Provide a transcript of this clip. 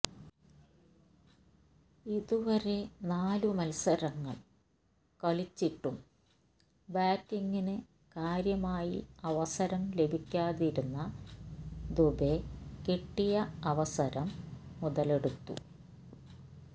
ഇതുവരെ നാലു മത്സരങ്ങൾ കളിച്ചിട്ടും ബാറ്റിങ്ങിന് കാര്യമായി അവസരം ലഭിക്കാതിരുന്ന ദുബെ കിട്ടിയ അവസരം മുതലെടുത്തു